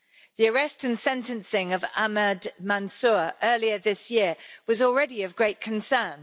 The arrest and sentencing of Ahmed Mansoor earlier this year was already of great concern.